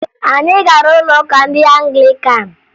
Anyị gara ụlọụka ndị Anglikan